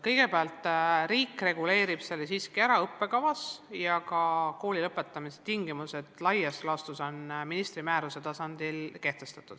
Kõigepealt, riik reguleerib selle õppekavas siiski ära ja ka kooli lõpetamise tingimused on laias laastus ministri määruse tasandil kehtestatud.